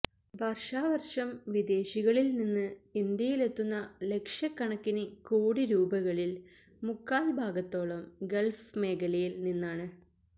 വര്ഷാവര്ഷം വിദേശികളില് നിന്ന് ഇന്ത്യയിലെത്തുന്ന ലക്ഷക്കണക്കിന് കോടി രൂപകളില് മുക്കാല് ഭാഗത്തോളം ഗള്ഫ് മേഖലയില് നിന്നാണ്